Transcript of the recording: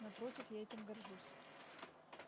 напротив я этим горжусь